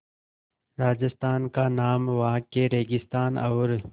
राजस्थान का नाम वहाँ के रेगिस्तान और